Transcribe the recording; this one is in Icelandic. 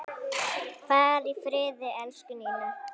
Far í friði, elsku Ninna.